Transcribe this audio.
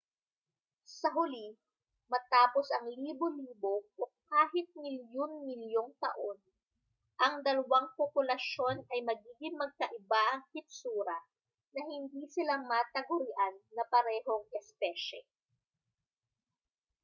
sa huli matapos ang libo-libo o kahit milyon-milyong taon ang dalawang populasyon ay magiging magkaiba ang hitsura na hindi sila matagurian na parehong espesye